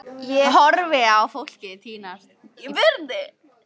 Ég horfi á fólkið tínast í burtu.